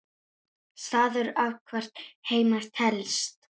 Staður athvarf heima telst.